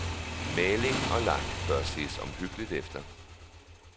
Maling og lak bør ses omhyggeligt efter.